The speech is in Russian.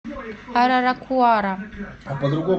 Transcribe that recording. араракуара